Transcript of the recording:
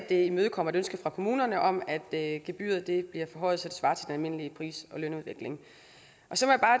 imødekommer et ønske fra kommunerne om at gebyret bliver forhøjet så det svarer til den almindelige pris og lønudvikling